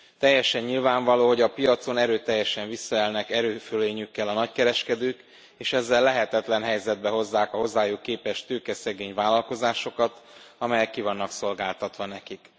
Teljesen nyilvánvaló, hogy a piacon erőteljesen visszaélnek erőfölényükkel a nagykereskedők, és ezzel lehetetlen helyzetbe hozzák a hozzájuk képest tőkeszegély vállalkozásokat, amelyek ki vannak szolgáltatva nekik.